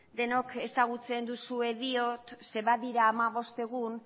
denok ezagutzen duxuela diot zeren badira hamabost egun